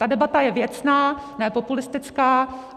Ta debata je věcná, ne populistická.